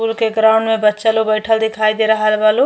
के ग्राउंड में बच्चा लो बइठल दिखाई दे रहल बा लो।